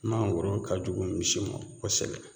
Mangoro ka jugu misi ma kosɛbɛ